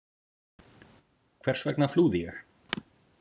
Hvers vegna flúði ég?